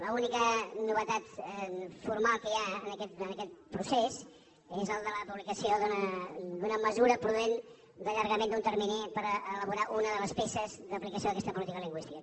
l’única novetat formal que hi ha durant aquest procés és el de la publicació d’una mesura prudent d’allargament d’un termini per elaborar una de les peces d’aplicació d’aquesta política lingüística